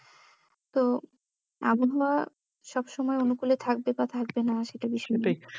তো আবহাওয়া সবসময় অনুকূলে থাকবে বা থাকবে না সেটা